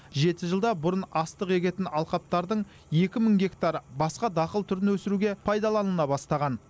жеті жылда бұрын астық егетін алқаптардың екі мың гектар басқа дақыл түрін өсіруге пайдаланыла бастаған